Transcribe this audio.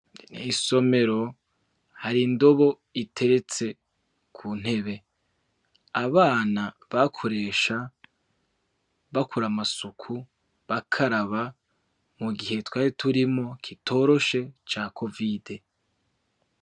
Isomero hari indobo iteretse kuntebe abana, bakoresha bakora amasuku bakaraba mugihe twari turimwo kitoroshe ca COVID.